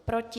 Proti?